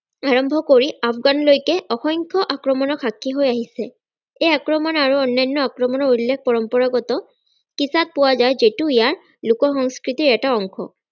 আৰম্ভ কৰি আফগান লৈকে অসংখ্য আক্ৰমনৰ সাক্ষী হৈ আহিছে এই আক্ৰমন আৰু অন্যান্য আক্ৰমনৰ উল্লেখ পৰম্পৰাগত কিতাপ পোৱা যায় যিটো ইয়াৰ লোকসংস্কৃতিৰ এটা অংশ